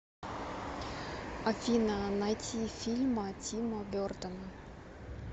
афина найти фильма тима бертона